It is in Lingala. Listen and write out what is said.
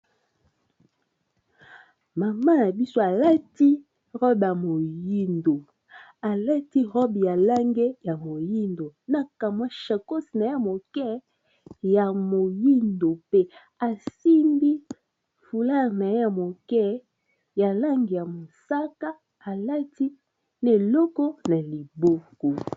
Mama ya biso alati robe ya moyindo alati robe ya lange ya moyindo na kamwa shacos na ya moke ya moyindo mpe asimbi fular na ye moke ya lange ya mosaka alati na eloko na liboko.